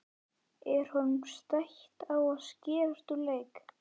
Er honum stætt á að skerast úr leik?